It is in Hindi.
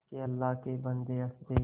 के अल्लाह के बन्दे हंस दे